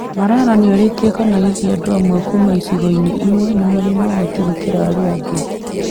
Malala nĩ oririe kana hihi andũ amwe kuuma icigo-inĩ imwe nĩ marĩ na ũhoti gũkĩra arĩa angĩ.